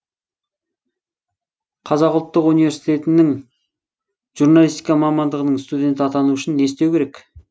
қазақ ұлттық университетінің журналистика мамандығының студені атану үшін не істеу керек